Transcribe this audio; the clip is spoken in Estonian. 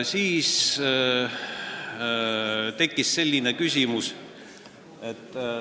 Siis tekkis selline küsimus ...